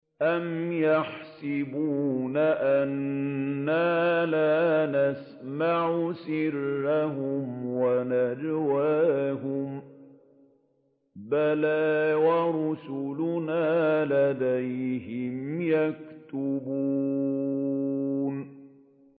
أَمْ يَحْسَبُونَ أَنَّا لَا نَسْمَعُ سِرَّهُمْ وَنَجْوَاهُم ۚ بَلَىٰ وَرُسُلُنَا لَدَيْهِمْ يَكْتُبُونَ